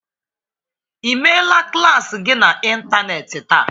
Ị meela klas gị n'ịntanetị taa?